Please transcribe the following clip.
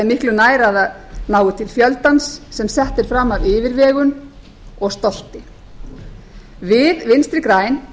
miklu nær að það nái til fjöldans sem sett er fram af yfirvegun og stolti við vinstri græn